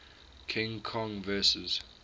king kong vs